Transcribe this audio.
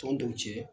Tɔndenw cɛ